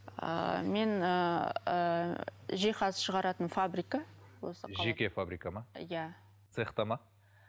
ыыы мен ыыы жиһаз шығаратын фабрика осы жеке фабрика ма иә цехта ма